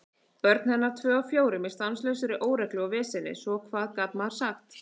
Börn hennar tvö af fjórum í stanslausri óreglu og veseni, svo hvað gat maður sagt?